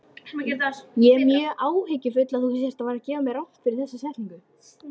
Þau horfa áhyggjufullum augum út á fjörðinn og eru þögul.